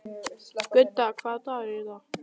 Gudda, hvaða dagur er í dag?